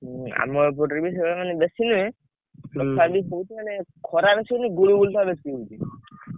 ଆମ ଏପଟରେବି ସେଇ ଭଳିଆ ମାନେ ବେଶୀ ନୁହେଁ ଖରା ଆସୁନି ଗୁଳୁ ଗୁଳି ଟା ବେଶୀ ହଉଛି।